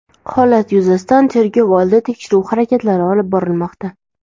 Holat yuzasidan tergov oldi tekshiruv harakatlari olib borilmoqda.